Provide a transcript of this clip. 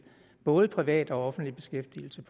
både privat og offentlig beskæftigelse